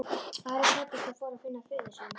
Ari klæddist og fór að finna föður sinn.